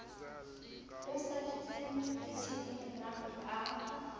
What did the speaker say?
a sa jeseng ditheohelang a